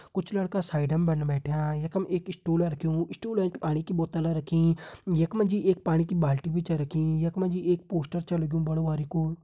कुछ लड़का साइड मा बैठ्यां यखम एक स्टूल रख्युं स्टूलम एंच पाणी की बोतल रखीं यख मा जी एक पाणी की बाल्टी छ रखीं यख मा जी एक पोस्टर छ लग्युं बड़ु बारिकु।